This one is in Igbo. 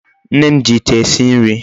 Nne m ji Ite esi nri